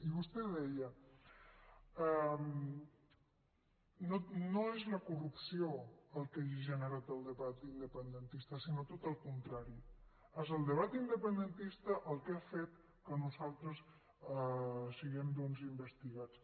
i vostè deia no és la corrupció el que ha generat el debat independentista sinó tot al contrari és el debat independentista el que ha fet que nosaltres siguem doncs investigats